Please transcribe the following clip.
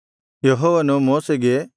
ಯೆಹೋವನು ಮೋಶೆಗೆ